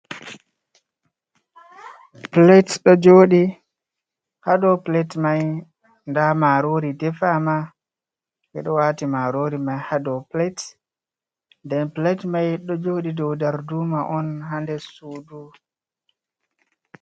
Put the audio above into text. Plate ɗo joorɗi, haa dow plate mai ndaa maaroori defama, ɓe ɗo waati maaroori mai haa dow plate nden plate mai ɗo jooɗi dow darduuma on haa nder suudu.